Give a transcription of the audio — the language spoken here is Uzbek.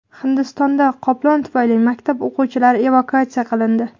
Hindistonda qoplon tufayli maktab o‘quvchilari evakuatsiya qilindi.